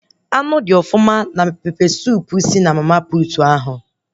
Anụ dị ọfụma na pepe suup si na mama puutu ahụ